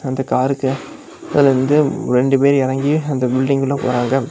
அந்த காருக்கு இதுல இருந்து ரெண்டு பேர் எறங்கி அந்த பில்டிங்குள்ள போறாங்க.